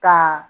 Ka